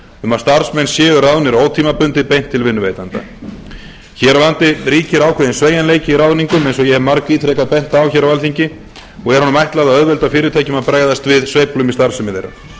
um að starfsmenn séu ráðnir ótímabundið beint til vinnuveitenda hér á landi ríkir ákveðinn sveigjanleiki í ráðningum eins og ég hef margítrekað bent á á alþingi og er honum ætlað að auðvelda fyrirtækjum að bregðast við sveiflum í starfsemi þeirra